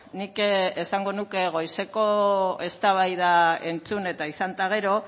nik esango nuke goizeko eztabaida entzun eta izan eta gero